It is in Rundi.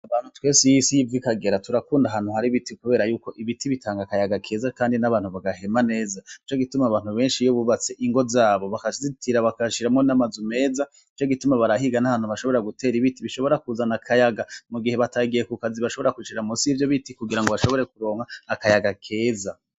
Abantu twese aho isi iva ikagera turakunda ahantu hari ibiti Kubera Yuko ibiti biratanga akayaga keza kandi nabantu bagahema neza nico gituma abantu iyo abantu bakazitira bagashiramwo namazu meza, nicogituma barahiga nahantu bashobora gutera ibiti bishobora kuzana akayaga mu igihe batagiye kukazi bashobora kwicara munsi yivyo biti bashobore kuronka akayaga keza.